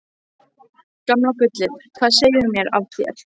Gamla gullið, hvað segirðu mér af þér?